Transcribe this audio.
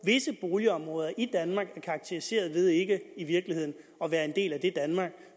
visse boligområder i danmark er karakteriseret ved ikke i virkeligheden at være en del af det danmark